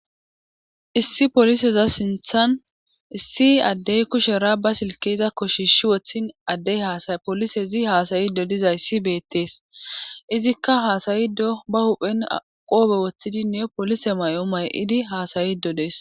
issi poliseza sinthan issi addey kushera ba silkeza koshishi woththin addey hasay polisezi haasayido dizayssi beettees izikka haasayido ba huphen aqoobe woththidinne polise may7o may7idi haasayido dees